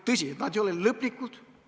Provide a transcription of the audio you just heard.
Tõsi, need ei ole lõplikud.